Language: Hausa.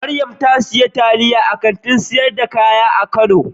Mariam ta sayi taliyan a Kantin sayar da kaya a kano.